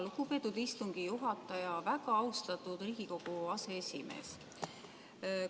Lugupeetud istungi juhataja, väga austatud Riigikogu aseesimees!